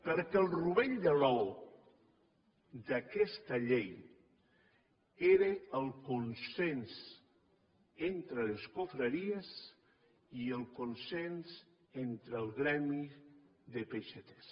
perquè el rovell de l’ou d’aquesta llei era el consens entre les confraries i el consens entre el gremi de peixaters